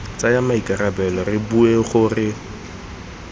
tsaya maikarabelo re bua gore